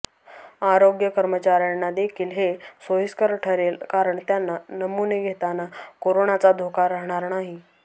आरोग्य कर्मचाऱ्यांनादेखील हे सोयीस्कर ठरेल कारण त्यांना नमुने घेताना कोरोनाचा धोका राहणार नाही